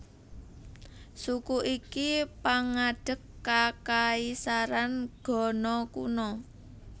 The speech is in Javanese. Suku iki pangadeg kakaisaran Ghana kuna